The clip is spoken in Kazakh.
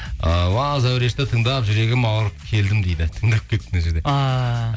ы уа зәурешті тыңдап жүрегім ауырып келдім дейді тыңдап кетіпті мына жерде ааа